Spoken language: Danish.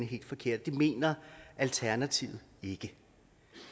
helt forkert det mener alternativet ikke